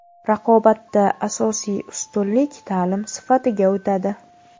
Raqobatda asosiy ustunlik ta’lim sifatiga o‘tadi.